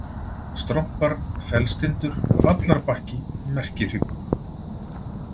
Strompar, Fellstindur, Vallarbakki, Merkihryggur